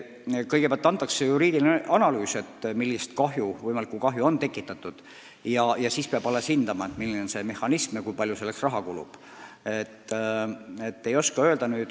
Kõigepealt tehakse juriidiline analüüs, millist võimalikku kahju on tekitatud, ja pärast seda peab hindama, milline on see kompensatsioonimehhanism ja kui palju selleks raha kulub.